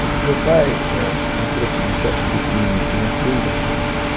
Meu pai é, entrou, assim, num certo declínio financeiro, né?